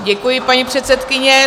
Děkuji, paní předsedkyně.